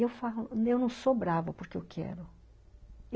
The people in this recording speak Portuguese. Eu falo, eu não sou brava porque eu quero.